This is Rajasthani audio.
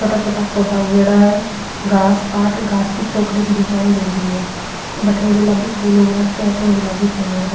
छोटा छोटा पौधा उगेडा है घास काट घास की चौकड़ी की डिजाइन दियेड़ी है भटीन गुलाबी फूल उग रखी है --